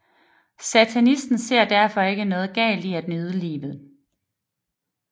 Satanisten ser derfor ikke noget galt i at nyde livet